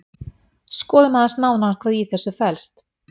Skoðum aðeins nánar hvað í þessu felst.